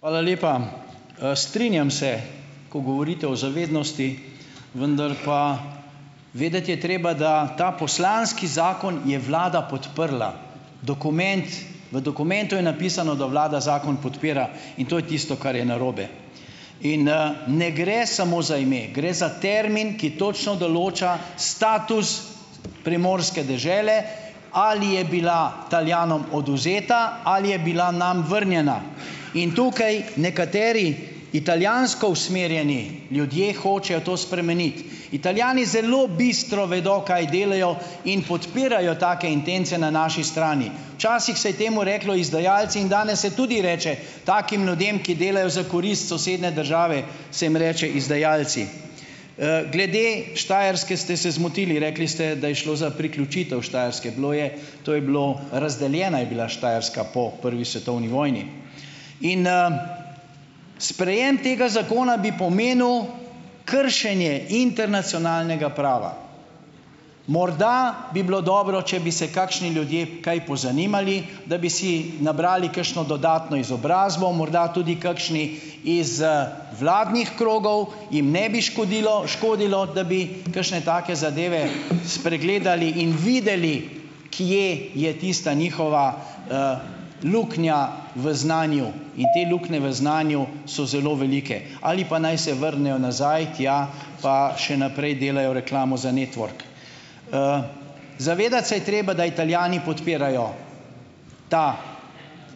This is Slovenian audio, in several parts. Hvala lepa. Strinjam se, ko govorite o zavednosti, vendar pa, vedeti je treba, da ta poslanski zakon je vlada podprla. Dokument, v dokumentu je napisano, da vlada zakon podpira, in to je tisto, kar je narobe. In, ne gre samo za ime. Gre za termin, ki točno določa status primorske dežele, ali je bila odvzeta ali je bila nam vrnjena. In tukaj nekateri italijansko usmerjeni ljudje hočejo to spremeniti. Italijani zelo bistro vedo, kaj delajo, in podpirajo take intence na naši strani. Včasih se je temu reklo izdajalci in danes se tudi reče takim ljudem, ki delajo za korist sosednje države, se jim reče izdajalci. Glede Štajerske ste se zmotili. Rekli ste, da se je šlo za priključitev Štajerske. Bilo je, to je bilo, razdeljena je bila Štajerska po prvi svetovni vojni. In, ... Sprejem tega zakona bi pomenil kršenje internacionalnega prava. Morda bi bilo dobro, če bi se kakšni ljudje kaj pozanimali, da bi si nabrali kakšno dodatno izobrazbo, morda tudi kakšni iz, vladnih krogov, jim ne bi škodilo škodilo, da bi kakšne take zadeve spregledali in videli, kje je tista njihova, luknja v znanju in te luknje v znanju so zelo velike ali pa naj se vrnejo nazaj tja, pa še naprej delajo reklamo za Network. Zavedati se je treba, da Italijani podpirajo to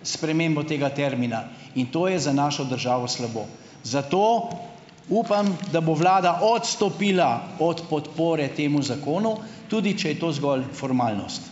spremembo tega termina, in to je za našo državo slabo, zato upam, da bo vlada odstopila od podpore temu zakonu, tudi če je to zgolj formalnost.